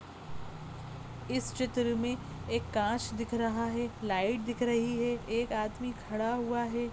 इस चित्र मे एक कांच दिख रहा है लाइट दिख रही है एक आदमी खड़ा हुआ है।